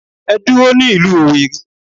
Ẹ dúró ní ìlú Owerri.